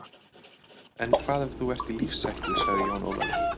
En hvað ef þú ert í lífshættu, sagði Jón Ólafur.